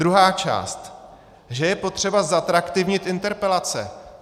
Druhá část, že je potřeba zatraktivnit interpelace.